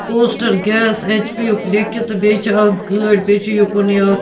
poster gas H P .یُک لیٚکِھتھ تہٕ بیٚیہِ چھ اکھ گٲڑۍ بیٚیہِ چُھ یوٚکُن یہِ اکھ